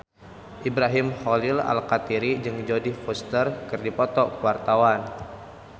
Ibrahim Khalil Alkatiri jeung Jodie Foster keur dipoto ku wartawan